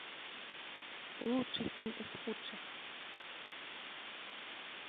лучший фильм из худших